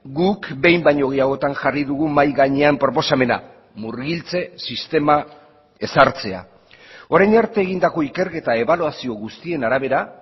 guk behin baino gehiagotan jarri dugu mahai gainean proposamena murgiltze sistema ezartzea orain arte egindako ikerketa ebaluazio guztien arabera